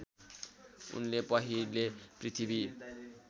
उनले पहिले पृथ्वी